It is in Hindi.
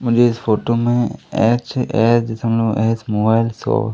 मुझे इस फोटो में एच_एच दशमलव एच मोबाइल शॉप --